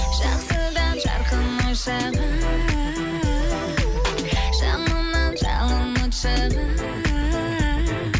жақсыдан жарқын ой шығар жаманнан жалын от шығар